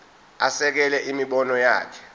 asekele imibono yakhe